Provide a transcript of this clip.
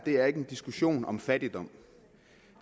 er en diskussion om fattigdom